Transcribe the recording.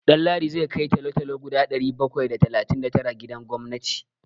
Ɗanladi zai kai talo-talo guda ɗari bakwai da talatin da tara gidan gwamnati.